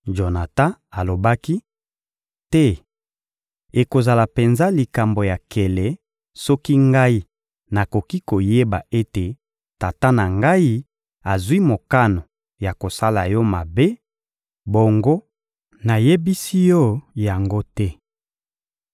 Jonatan alobaki: — Te! Ekozala penza likambo ya nkele soki ngai nakoki koyeba ete tata na ngai azwi mokano ya kosala yo mabe, bongo nayebisi yo yango te!